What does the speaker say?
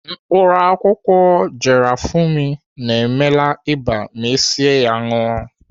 Mkpaakwụkwọ garafuni na-emela ịba ma esie ya ṅụọ.